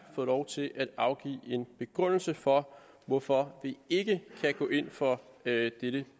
fået lov til at afgive en begrundelse for hvorfor vi ikke kan gå ind for dette